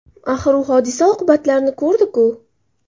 Axir u hodisa oqibatlarini ko‘rdi-ku.